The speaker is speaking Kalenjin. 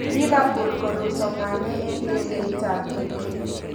Liverpool koruto Mane eng ndegeitab kipke.